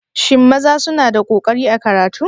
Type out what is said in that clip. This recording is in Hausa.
Shin maza suna da ƙoƙari a karatu?